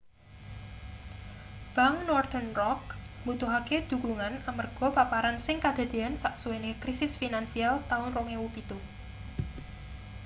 bank northern rock mbutuhake dhukungan amarga paparan sing kadadeyan sasuwene krisis finansial taun 2007